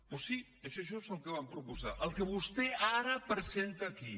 doncs sí això és just el que va proposar el que vostè ara presenta aquí